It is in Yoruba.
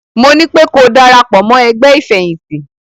Mo nípé ko darapọ̀ mọ́ ẹgbẹ́ ìfẹ̀yìntì!